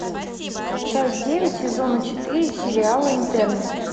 часть девять сезона четыре сериала интерны